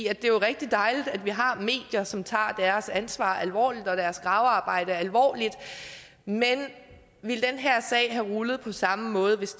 er jo rigtig dejligt at vi har medier som tager deres ansvar alvorligt og deres gravearbejde alvorligt men ville denne her sag have rullet på samme måde hvis